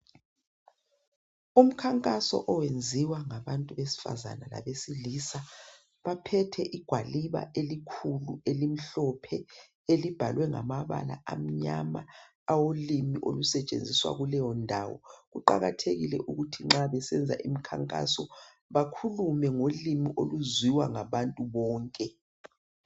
Umkhankaso oyenziwa ngabesifazan a labesilisa. Baphethe igwaluba elikhulu elimhlophe elibhalwe ngamabala amnyama awolimi olusetshenziswa kuleyo ndawo. Kuqakathekile ukuthi nxa besenza umkhankaso bakhulume ngolimi oluzwiwa ngabantu bonke.